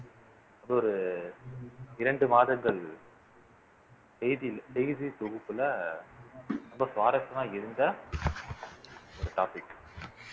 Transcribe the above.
அது ஒரு இரண்டு மாதங்கள் செய்தி செய்தி தொகுப்புல ரொம்ப சுவாரஸ்யமா இருந்த ஒரு topic